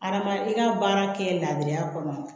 Arama i ka baara kɛ labiriya kɔnɔ